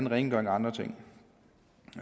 rengøring og andre ting